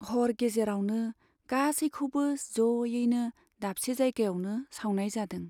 हर गेजेरावनो गासैखौबो ज'यैनो दाबसे जायगायावनो सावनाय जादों।